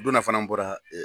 O donna fana n bɔra ɛ